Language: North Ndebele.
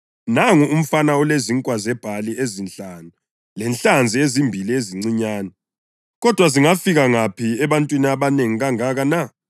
“Nangu umfana olezinkwa zebhali ezinhlanu lenhlanzi ezimbili ezincinyane, kodwa zingafika ngaphi ebantwini abanengi kangaka na?”